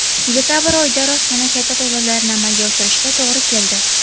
Dekabr oyida rostmana katta to‘lovlarni amalga oshirishga to‘g‘ri keldi.